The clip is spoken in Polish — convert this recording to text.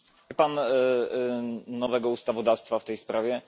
Pan nowego ustawodawstwa w tej sprawie.